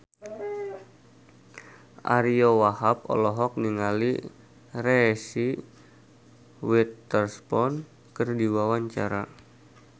Ariyo Wahab olohok ningali Reese Witherspoon keur diwawancara